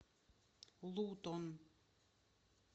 лутон